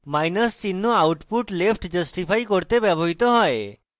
minus চিহ্ন output left justify করতে ব্যবহৃত হয়